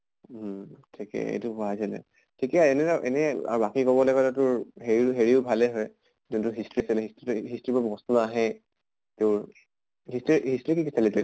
উম ঠিকে এইটো পঢ়াইছিলে। ঠিকে বাকী কবলে গʼলে তোৰ হেৰিও হেৰিও ভালে হয় যোনটো history আছিল, history তো history বোৰ নাহে তোৰ history history কি কি চালি তই